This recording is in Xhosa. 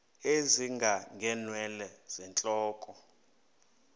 ezinga ngeenwele zentloko